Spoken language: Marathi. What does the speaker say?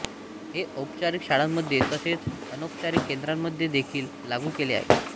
हे औपचारिक शाळांमध्ये तसेच अनौपचारिक केंद्रांमध्ये देखील लागू केले आहे